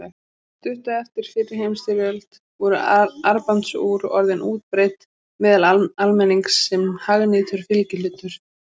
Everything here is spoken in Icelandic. Stuttu eftir fyrri heimsstyrjöld voru armbandsúr orðin útbreidd meðal almennings sem hagnýtur fylgihlutur.